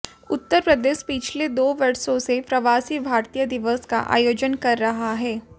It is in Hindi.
उत्तर प्रदेश पिछले दो वर्षों से प्रवासी भारतीय दिवस का आयोजन कर रहा है